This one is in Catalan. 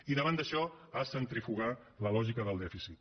i davant d’això a centrifugar la lògica del dèficit